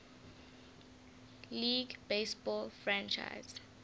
league baseball franchise